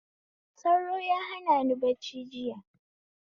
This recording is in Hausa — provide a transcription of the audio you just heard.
Sauro ya hanani bacci jiya